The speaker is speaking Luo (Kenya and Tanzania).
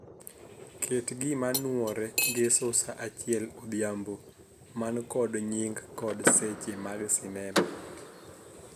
Ket gima nuore ngeso saa achiel odhiambo man kod nying kod seche mag sinema.